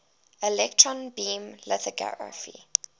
electron beam lithography